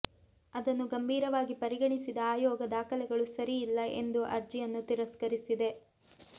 ಅದನ್ನು ಗಂಭೀರವಾಗಿ ಪರಿಗಣಿಸಿದ ಆಯೋಗ ದಾಖಲೆಗಳು ಸರಿ ಇಲ್ಲ ಎಂದು ಅರ್ಜಿಯನ್ನು ತಿರಸ್ಕರಿಸಿದೆ